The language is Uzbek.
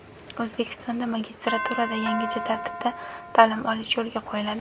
O‘zbekistonda magistraturada yangicha tartibda ta’lim olish yo‘lga qo‘yiladi.